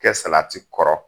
Kɛ salati kɔrɔ